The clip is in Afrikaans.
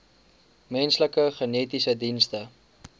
menslike genetiese dienste